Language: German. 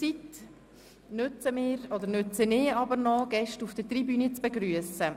Ich nutze die Zeit, um die Gäste auf der Tribüne zu begrüssen.